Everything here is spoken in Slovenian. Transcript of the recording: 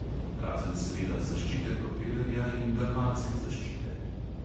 Razen seveda zaščite propelerja in galvanske zaščite.